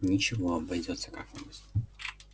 ничего обойдётся как нибудь